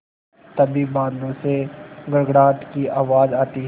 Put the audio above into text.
तभी बादलों से गड़गड़ाहट की आवाज़ आती है